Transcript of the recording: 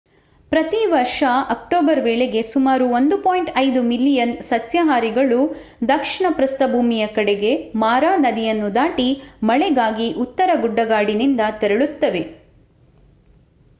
ಪ್ರತಿ ವರ್ಷ ಅಕ್ಟೋಬರ್ ವೇಳೆಗೆ ಸುಮಾರು 1.5 ಮಿಲಿಯನ್ ಸಸ್ಯಾಹಾರಿಗಳು ದಕ್ಷಿಣ ಪ್ರಸ್ಥಭೂಮಿಯ ಕಡೆಗೆ ಮಾರಾ ನದಿಯನ್ನು ದಾಟಿ ಮಳೆಗಾಗಿ ಉತ್ತರ ಗುಡ್ಡಗಾಡಿನಿಂದ ತೆರಳುತ್ತವೆ